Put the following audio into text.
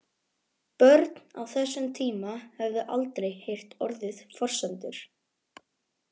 Börn á þessum tíma höfðu aldrei heyrt orðið forsendur.